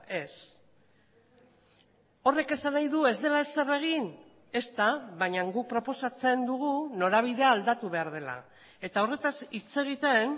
ez horrek esan nahi du ez dela ezer egin ezta baina guk proposatzen dugu norabidea aldatu behar dela eta horretaz hitz egiten